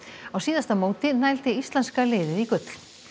á síðasta móti nældi íslenska liðið í gull